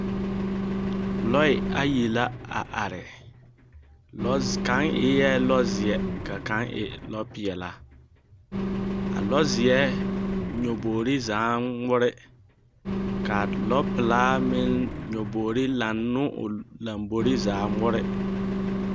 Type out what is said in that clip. Lɔɛ ayi la a are, lɛze… kaŋ eɛ lɔzeɛ, ka kaŋe lɔpeɛlaa. A lɔzeɛ nyebogiri zaaŋ ŋmore. Ka lɔpelaa meŋ nyebogiri laŋ ne o lombori zaa a ŋmore.